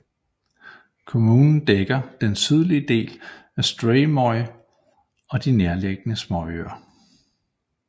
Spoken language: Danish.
Kommunen dækker den sydlige del af Streymoy og de nærliggende småøer